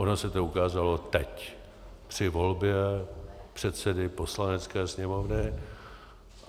Ono se to ukázalo teď, při volbě předsedy Poslanecké sněmovny.